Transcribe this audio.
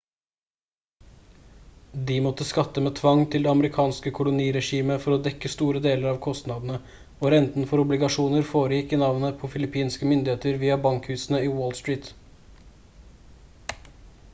de måtte skatte med tvang til det amerikanske koloniregimet for å dekke store deler av kostnadene og renten for obligasjoner foregikk i navnet på filippinske myndigheter via bankhusene i wall street